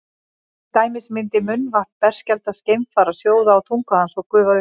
til dæmis myndi munnvatn berskjaldaðs geimfara sjóða á tungu hans og gufa upp